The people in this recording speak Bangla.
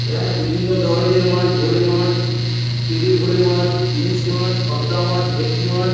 এখানে বিভিন্ন ধরণের মাছ। ভোলে মাছ তেলে ভোলে মাছ ইলিশ মাছ পাবদা মাছ ভেটকি মাছ --